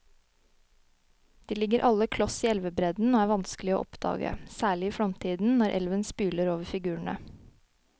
De ligger alle kloss i elvebredden og er vanskelige å oppdage, særlig i flomtiden når elven spyler over figurene.